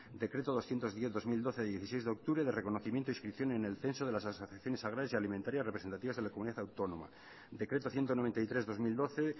decreto doscientos diez barra dos mil doce de dieciséis de octubre de reconocimiento e inscripción en el censo de las asociaciones agrarias y alimentarias representativas de la comunidad autónoma decreto ciento noventa y tres barra dos mil doce